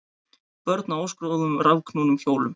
Börn á óskráðum rafknúnum hjólum